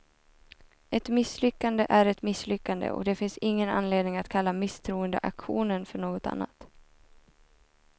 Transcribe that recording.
Ett misslyckande är ett misslyckande, och det finns ingen anledning att kalla misstroendeaktionen för något annat.